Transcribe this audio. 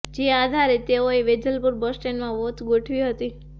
જે આધારે તેઓએ વેજલપુર બસ સ્ટેન્ડમાં વોચ ગોઠવી હતી